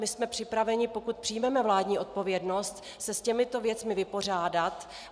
My jsme připraveni, pokud přijmeme vládní odpovědnost, se s těmito věcmi vypořádat.